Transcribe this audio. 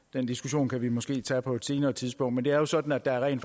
den diskussion kan vi måske tage på et senere tidspunkt men det er jo sådan at der rent